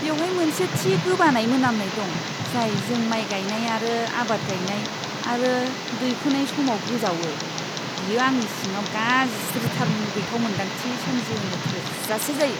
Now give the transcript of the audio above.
बेवहाय मोनसे थि गोबानाय मोनामनाय दं जाय जों माय गायनाय आरो आबाद गायनाय आरो दैखोनाय समाव गोजावो, बेयो आंनि सिङाव गाज्रिथार मुगैथाव मोनदांथि सोमजिहोनो थोजासे जायो।